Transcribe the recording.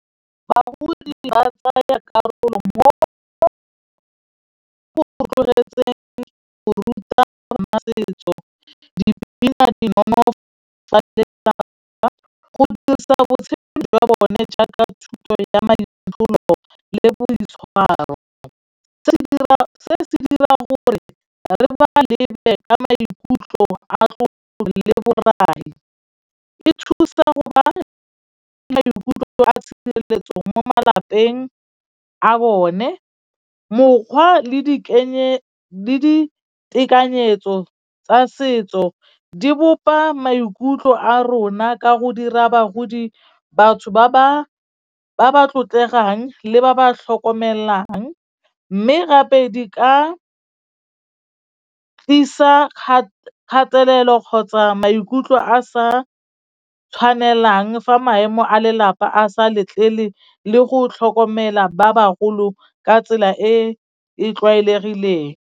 Bagodi ba tsaya karolo mo go rotloetseng go ruta ngwana setso, dipina di nonofo tsa lelapa go dirisa botshelo jwa bone jaaka thuto ya maitsholo le boitshwaro. Se dira se dira gore re ba lebe ka maikutlo a go le borai, e thusa go ba maikutlo a tshireletso mo malapeng a bone, mokgwa le ditekanyetso tsa setso di bopa maikutlo a rona ka go dira bagodi, batho ba ba tlotlegang le ba ba tlhokomelang. Mme gape di ka tlisa kgatelelo kgotsa maikutlo a sa tshwanelang fa maemo a lelapa a sa letlele le go tlhokomela ba bagolo ka tsela e e tlwaelegileng.